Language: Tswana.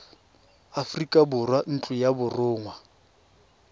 aforika borwa ntlo ya borongwa